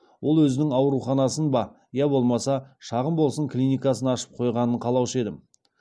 ол өзінің ауруханасын ба я болмаса шағын болсын клиникасын ашып қойғанын қалаушы едім